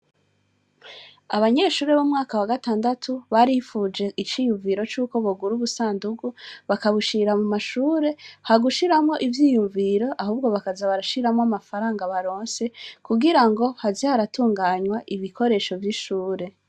Abanyeshure b'umwaka wa gatandatu barifuje iciyumviro c'uko buguru busandugu bakabushira mu mashure ha gushiramo ivyiyumviro ahubwo bakaza barashiramwo amafaranga baronse kugira ngo hazi haratunganywa ibikoresho vy'ishure.